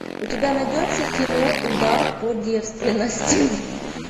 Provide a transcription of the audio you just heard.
у тебя найдется кино удар по девственности